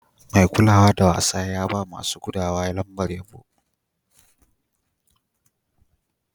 Mai kulawa da wasa ya ba ma masun gudawa lambar yabo.